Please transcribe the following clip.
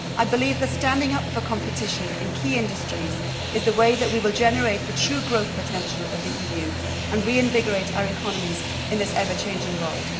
I believe that standing up for competition in key industries is the way that we will generate the true growth potential of the EU and reinvigorate our economies in this ever changing world.